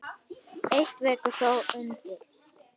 Eitt vekur þó undrun.